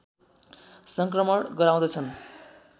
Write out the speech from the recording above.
सङ्क्रमण गराउँदछन्